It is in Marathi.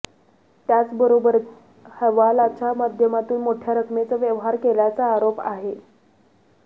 त्याचबरोबर हवालाच्या माध्यमातून मोठ्या रकमेचा व्यवहार केल्याचा आरोप आहे